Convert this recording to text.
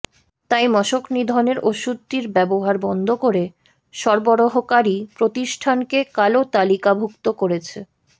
তাই মশকনিধনের ওষুধটির ব্যবহার বন্ধ করে সরবরাহকারী প্রতিষ্ঠানকে কালো তালিকাভুক্ত করেছে